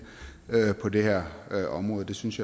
på det her område det synes